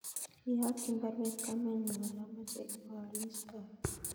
Iyokyi baruet kamenyun kole omoche ibo oolis koron